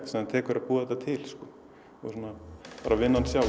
sem tekur að búa þetta til og vinnan sjálf